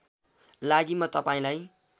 लागि म तपाईँलाई